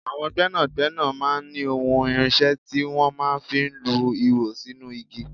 Àwọn gbẹ́nàgbẹ́nà máa ń ní ohun irinṣẹ́ tí wọ́n máa ń fi lu ihò sínú igi.